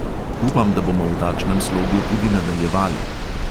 Upam, da bomo v takšnem slogu tudi nadaljevali.